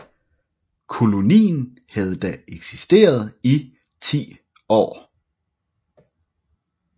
Kolonien havde da eksisteret i 10 år